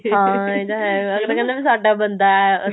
ਹਾਂ ਇਹ ਤਾਂ ਹੈ ਅਗਲਾ ਕਹਿੰਦਾ ਵੀ ਸਾਡਾ ਬੰਦਾ ਏ